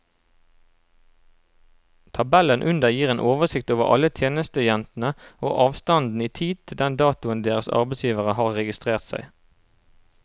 Tabellen under gir en oversikt over alle tjenestejentene og avstanden i tid til den datoen deres arbeidsgivere har registrert seg.